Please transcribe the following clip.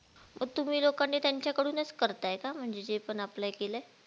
मग तुम्ही लोकांनी त्यांच्याकडूनच करताय का म्हणजे जे पण अप्लाय केलंय